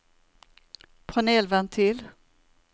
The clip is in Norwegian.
panelventil